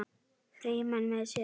Frímann með sér.